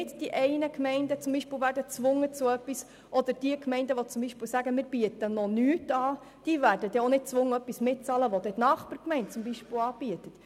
Eine Gemeinde wird nicht zu etwas gezwungen, oder Gemeinden, die noch nichts anbieten, werden nicht gezwungen, ein Angebot der Nachbargemeinde mitzubezahlen.